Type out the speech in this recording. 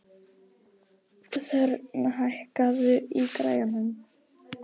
Þórörn, hækkaðu í græjunum.